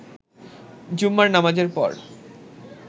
জুম্মার নামাজের পর